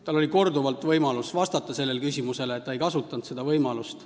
Tal oli korduvalt võimalus sellele küsimusele vastata, aga ta ei kasutanud seda võimalust.